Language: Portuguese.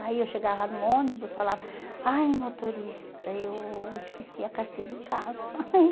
Aí eu chegava no ônibus e falava, ai motorista, eu esqueci a carteira em casa.